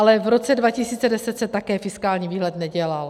Ale v roce 2010 se také fiskální výhled nedělal.